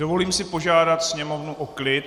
Dovolím si požádat sněmovnu o klid.